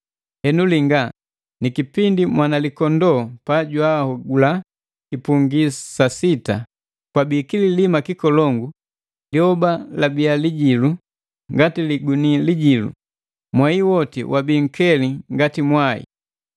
Henu linga, ni kipindi Mwanalikondoo pajwahogula kipungi sa sita, kwabi kililima kikolongu, lyoba labia lijilu ngati liguni lijilu, mwei woti wabi nkeli ngati mwai,